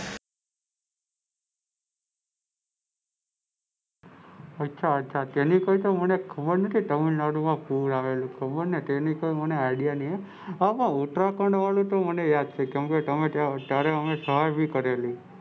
અચ્છા અચ્છા અમને ખબર નથી કે તામિળનાડુ માં પણ પૂર આવેલું તેની ખબર નહિ આઈડિયા નહિ હા પણ ઉત્તરાખંડ વાળું તો મને યાદ છે કે અમે ત્યાંરે સહાય પણ કરેલી.